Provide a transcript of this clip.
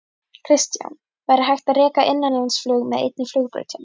Kristján: Væri hægt að reka innanlandsflug með einni flugbraut hér?